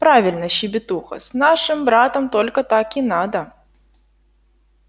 правильно щебетуха с нашим братом только так и надо